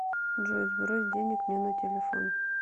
джой сбрось денег мне на телефон